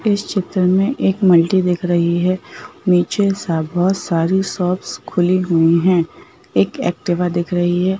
इस चित्र में एक मल्टी दिख रही है। नीचे बहुत सारी शॉप खुली हुई है। एक एक्टिवा दिख रही है।